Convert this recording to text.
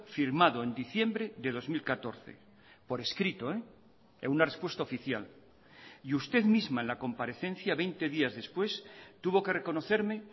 firmado en diciembre de dos mil catorce por escrito en una respuesta oficial y usted misma en la comparecencia veinte días después tuvo que reconocerme